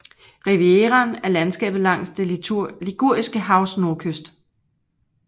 Rivieraen er landskabet langs det Liguriske havs nordkyst